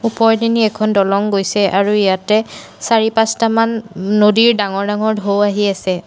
ওপৰৰ পিনে এখন দলং গৈছে আৰু ইয়াতে চাৰি পাঁচটামান নদীৰ ডাঙৰ ডাঙৰ ঢৌ আহি আছে।